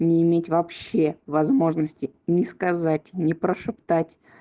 не иметь вообще возможности ни сказать ни прошептать